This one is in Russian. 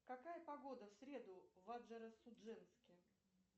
какая погода в среду в анжеро судженске